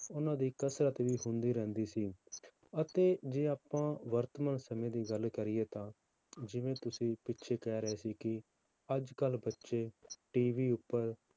ਉਹਨਾਂ ਦੀ ਕਸ਼ਰਤ ਵੀ ਹੁੰਦੀ ਰਹਿੰਦੀ ਸੀ, ਅਤੇ ਜੇ ਆਪਾਂ ਵਰਤਮਾਨ ਸਮੇਂ ਦੀ ਗੱਲ ਕਰੀਏ ਤਾਂ ਜਿਵੇਂ ਤੁਸੀਂ ਪਿੱਛੇ ਕਹਿ ਰਹੇ ਸੀ ਕਿ ਅੱਜ ਕੱਲ੍ਹ ਬੱਚੇ TV ਉੱਪਰ